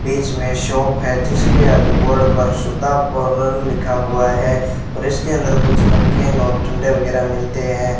बीच में शॉप है जिसके आगे बोर्ड पर सुधा पार्लर लिखा हुआ है और इसके अंदर कुछ नमकीन और ठंडे वगैरा मिलते हैं।